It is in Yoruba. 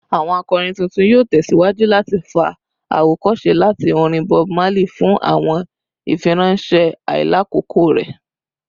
Awọn akọrin tuntun yoo tẹsiwaju lati fa awokose lati orin Bob Marley fun awọn ifiranṣẹ ailakoko rẹ